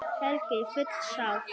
Helga: Full sátt?